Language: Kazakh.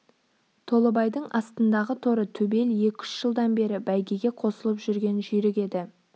толыбайдың астындағы торы төбел екі-үш жылдан бері бәйгеге косылып жүрген жүйрік еді